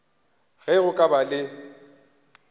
ge go ka ba le